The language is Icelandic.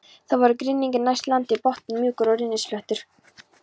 Það voru grynningar næst landi, botninn mjúkur og rennisléttur.